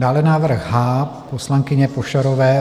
Dále návrh H poslankyně Pošarové.